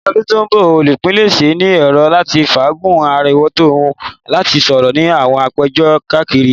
Ni ọdun ti n bọ, olupilẹṣẹ ni ero lati faagun arọwọto wọn ati sọrọ ni awọn apejọ kariaye.